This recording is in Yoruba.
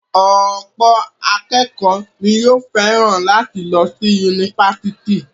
Ọ̀pọ̀ akékọ̀ọ́ ni yóò fẹ́ràn láti lọ sí yunifásítì.